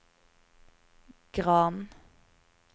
Gran